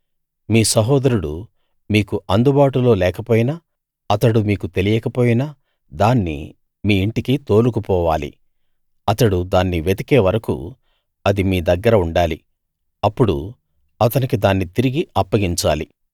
మీ సహోదరుడు మీకు అందుబాటులో లేకపోయినా అతడు మీకు తెలియకపోయినా దాన్ని మీ ఇంటికి తోలుకుపోవాలి అతడు దాన్ని వెతికే వరకూ అది మీ దగ్గర ఉండాలి అప్పుడు అతనికి దాన్ని తిరిగి అప్పగించాలి